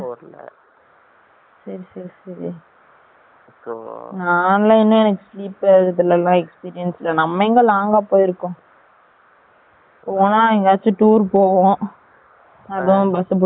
நான் எங்க எனக்கு experience இல்ல நம்ம எங்க long அ போய் இருக்கோம் . போனா எங்க டௌர் போவோம் bus புடிச்சு கூட்டிட்டு போவாங்க